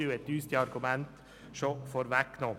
Er hat uns die Argumente schon vorweggenommen.